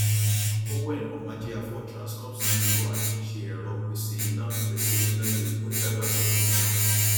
owen omojiafor transcorp ceo atunṣe ẹrọ pèsè iná pèsè iná lè mú ìdàgbàsókè iná